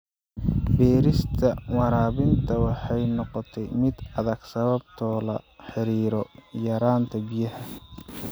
Beerista waraabinta waxay noqotay mid adag sababo la xiriira yaraanta biyaha.